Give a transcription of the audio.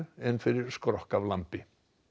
en fyrir skrokk af lambi